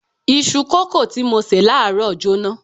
Isu kòókòó tí mo ṣe láàárọ̀ jóná.